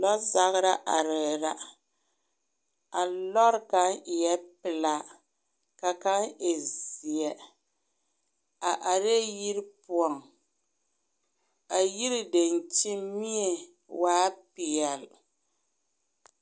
Lͻzagera arԑԑ la. A lͻre kaŋa eԑԑ pelaa ka kaŋ e zeԑ. A arԑԑ yiri poͻŋ. A yiri daŋkyiŋ mie waa peԑle.